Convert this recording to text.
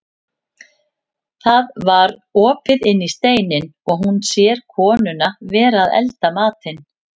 Það var opið inn í steininn og hún sér konuna vera að elda matinn.